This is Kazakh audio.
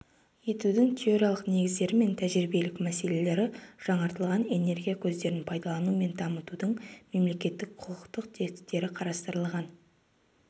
етудің теориялық негіздері мен тәжірибелік мәселелері жаңартылатын энергия көздерін пайдалану мен дамытудың мемлекеттік-құқықтық тетіктері қарастырылған